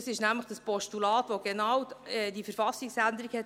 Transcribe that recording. Dies ist nämlich das Postulat, welches genau diese KV-Änderung wollte;